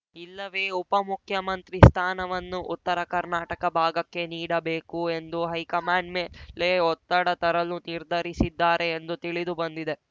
ಇಲ್ಲವೇ ಉಪಮುಖ್ಯಮಂತ್ರಿ ಸ್ಥಾನವನ್ನು ಉತ್ತರ ಕರ್ನಾಟಕ ಭಾಗಕ್ಕೆ ನೀಡಬೇಕು ಎಂದು ಹೈಕಮಾಂಡ್‌ ಮೇಲೆ ಒತ್ತಡ ತರಲು ನಿರ್ಧರಿಸಿದ್ದಾರೆ ಎಂದು ತಿಳಿದು ಬಂದಿದೆ